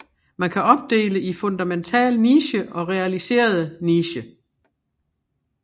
Man kan opdele i fundemental niche og realiserede niche